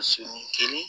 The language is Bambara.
Sɔ sɔni kelen